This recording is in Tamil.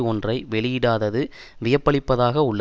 ஒன்றை வெளியிடாதது வியப்பளிப்பதாக உள்ளது